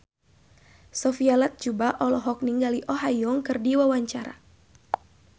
Sophia Latjuba olohok ningali Oh Ha Young keur diwawancara